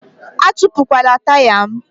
Atupukwala taya m!